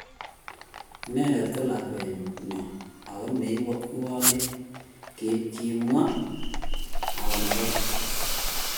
Inendet ko lakwenyon ago ne iwolech," kimwa Okunoren.